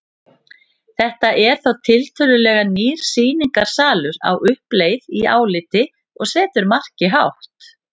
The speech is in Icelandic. Þetta er þá tiltölulega nýr sýningarsalur á uppleið í áliti og setur markið hátt.